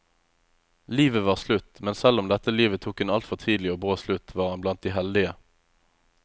Livet var slutt, men selv om dette livet tok en altfor tidlig og brå slutt, var han blant de heldige.